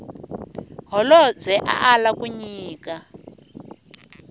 holobye a ala ku nyika